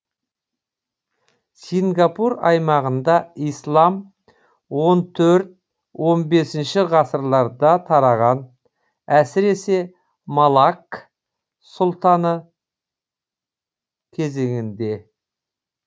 сингапур аймағында ислам он төрт он бесінші ғасырларда тараған әсіресе малакк сұлтанаты кезеңінде